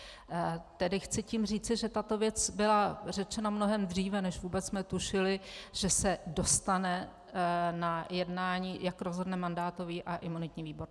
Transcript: Tedy chci tím říci, že tato věc byla řečena mnohem dříve, než vůbec jsme tušili, že se dostane na jednání, jak rozhodne mandátový a imunitní výbor.